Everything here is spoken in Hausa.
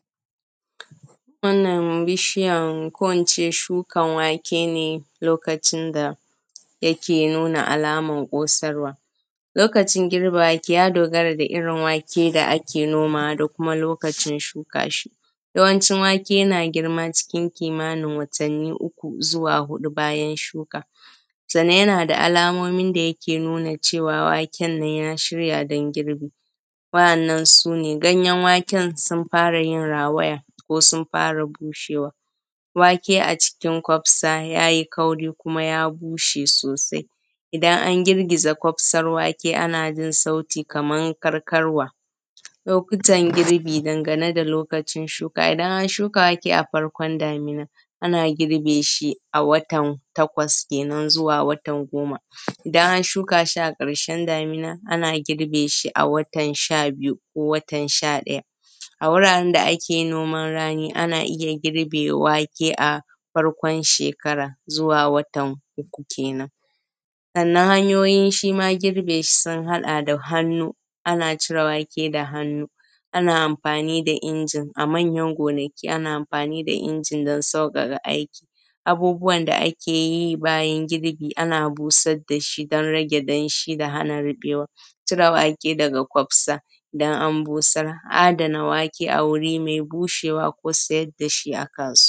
Wannan bishiyan ko ince shukan wake ne lokacin da yike nuna alaman ƙosarwa. Lokacin girba wake ya dogara da irin wake da ake nomawa da kuma lokacin shuka shi, yawancin wake yana girma cikin kimanin watani uku zuwa hudu, sannan yana da alamomin da yike nuna cewa waken ya shirya don girbi, wa’annan su ne. Ganyen waken sun fara yin rawaya ko sun fara bushewa, wake a cikin kwafsa yayi kauri kuma ya bushe sosai, idan an girgiza kufsan wake ana jin sauti kaman karkarwa. Lokutan girbi dangane da lokacin shuka, idan aka shuka wake a farkon damina ana girbe shi a watan takwas kenen zuwa watan goma, idan an shuka shi a karshen damina ana girbe shi a watan sha biyu ko watan sha daya. A wuraren da ake noman rani ana iya girbe wake a farkon shekara zuwa watan uku kenan. Sannan hanyoyin shima girbe shi sun hada da hannu, ana cire wake da hannu, ana amfani da injin a manyan gonaki ana amfani da inji don saukaka aiki. Abubuwan da ake yi bayan girbi, ana busar dashi don rage danshi da hana rubewa. Cire wake daga kwafsa idan an busar, adana wake a wuri mai bushewa ko siyar dashi a kasuwa.